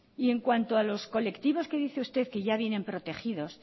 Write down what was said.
en cuanto a los colectivos que dice usted que ya vienen protegidos